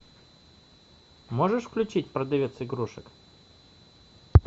можешь включить продавец игрушек